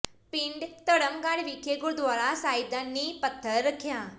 ਪਿੰਡ ਧਰਮਗੜ੍ਹ ਵਿਖੇ ਗੁਰਦੁਆਰਾ ਸਾਹਿਬ ਦਾ ਨੀਂਹ ਪੱਥਰ ਰੱਖਿਆ